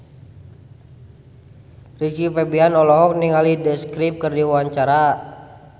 Rizky Febian olohok ningali The Script keur diwawancara